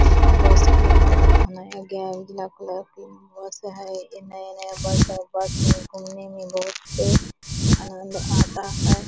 बस को माला पहनाया गया है उजला कलर के बस है ये नया-नया बस है बस में घुमने में बहुत आनंद आता है।